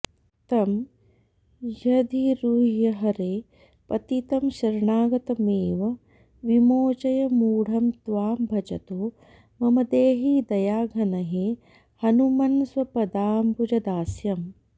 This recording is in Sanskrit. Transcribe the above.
तं ह्यधिरुह्य हरे पतितं शरणागतमेव विमोचय मूढं त्वां भजतो मम देहि दयाघन हे हनुमन्स्वपदाम्बुजदास्यम्